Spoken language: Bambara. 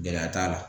Gɛlɛya t'a la